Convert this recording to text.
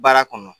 Baara kɔnɔ